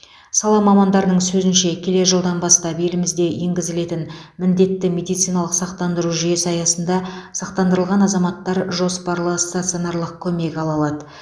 сала мамандарының сөзінше келер жылдан бастап елімізде енгізілетін міндетті медициналық сақтандыру жүйесі аясында сақтандырылған азаматтар жоспарлы стационарлық көмек ала алады